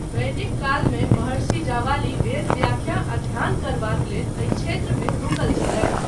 वैदिक कालमे, महर्षि जावालि वेदव्याख्या आ ध्यान करबाक लेल एहि क्षेत्रमे रुकल छलथि।